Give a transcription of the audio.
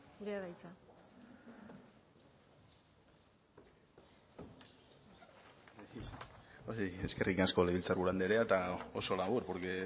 zurea da hitza eskerrik asko legebiltzarburu andrea eta oso labur porque